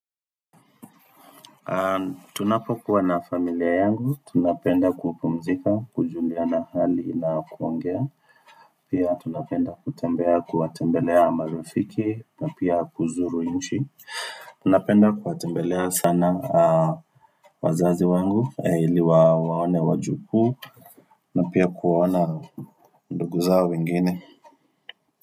Tunapokuwa na familia yangu, tunapenda kupumzika, kujuliana hali na kuongea Pia tunapenda kutembea kuwatembelea marafiki na pia kuzuru inchi Tunapenda kuwatembelea sana wazazi wangu ili waone wajukuu na pia kuona ndugu zao wengine.